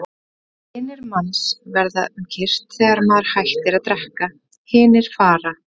Vinir manns verða um kyrrt þegar maður hættir að drekka, hinir fara.